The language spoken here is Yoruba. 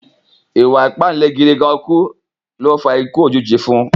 Ìwà ìpáǹle gídìgánkú náà ló fa ikú òjijì fún un